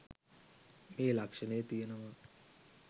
මේ ලක්ෂණය තියෙනවා.